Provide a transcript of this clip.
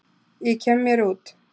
Ég kem mér út.